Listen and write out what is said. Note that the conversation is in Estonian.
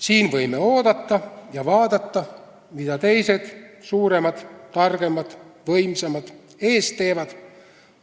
Siin võime oodata ja vaadata, mida teised, suuremad, targemad ja võimsamad, ees teevad.